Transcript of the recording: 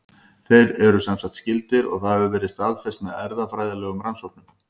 Þeir eru semsagt skyldir og það hefur verið staðfest með erfðafræðilegum rannsóknum.